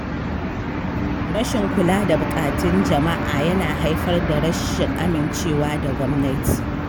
Rashin kula da buƙatun jama’a yana haifar da rashin amincewa da gwamnati.